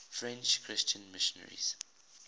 french christian missionaries